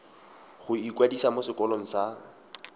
go ikwadisa mo sekolong sa